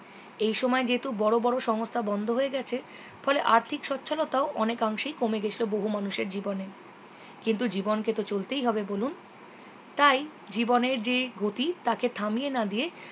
এই সময় যেহেতু বড়ো বড়ো সংস্থা বন্ধ হয়ে গেছে ফলে আর্থিক সচ্ছলতাও অনেকাংশেই কমে গিয়েছিলো বহু মানুষের জীবনে কিন্তু জীবনকে তো চলতেই হবে বলুন তাই জীবনের যে গতি তাকে থামিয়ে না দিয়ে